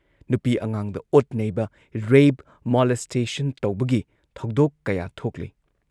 ꯅꯨꯄꯤ ꯑꯉꯥꯥꯡꯗ ꯑꯣꯠꯅꯩꯕ, ꯔꯦꯞ, ꯃꯣꯂꯦꯁꯇꯦꯁꯟ ꯇꯧꯕꯒꯤ ꯊꯧꯗꯣꯛ ꯀꯌꯥ ꯊꯣꯛꯂꯤ ꯫